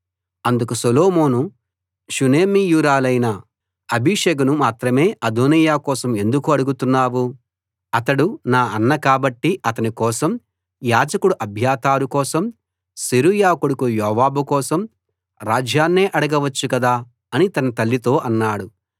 అందుకు సొలొమోను షూనేమీయురాలైన అబీషగును మాత్రమే అదోనీయా కోసం ఎందుకు అడుగుతున్నావు అతడు నా అన్న కాబట్టి అతని కోసం యాజకుడు అబ్యాతారు కోసం సెరూయా కొడుకు యోవాబు కోసం రాజ్యాన్నే అడగవచ్చు కదా అని తన తల్లితో అన్నాడు